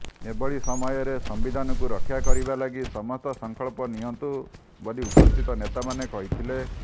ଏଭଳି ସମୟରେ ସମ୍ବିଧାନକୁ ରକ୍ଷା କରିବା ଲାଗି ସମସ୍ତ ସଂକଳ୍ପ ନିଅନ୍ତୁ ବୋଲି ଉପସ୍ଥିତ ନେତାମାନେ କହିଥିଲେ